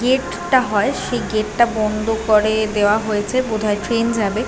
Gate টা হয় সেই গেট টা বন্ধ করে দেওয়া হয়েছে বোধ হয় ট্রেন যাবে ।